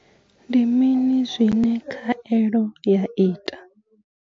Ndi mini zwine khaelo ya ita?